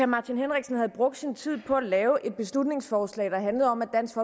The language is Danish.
martin henriksen havde brugt sin tid på at lave et beslutningsforslag der handlede om at dansk